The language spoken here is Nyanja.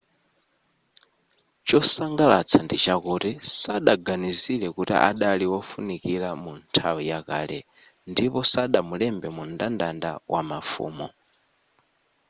chosangalatsa ndichakuti sadaganizire kuti adali wofunikira mu nthawi ya kale ndipo sadamulembe mu mndandanda wamafumu